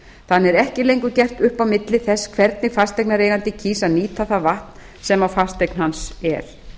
þannig er ekki lengur gert upp á milli þess hvernig fasteignareigandi kýs að nýta það vatn sem á fasteign hans er